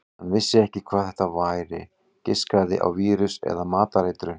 Hann vissi ekki hvað þetta væri, giskaði á vírus eða matareitrun.